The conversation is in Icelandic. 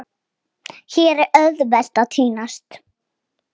Lóa-Lóa gaf þeim stundum arfa.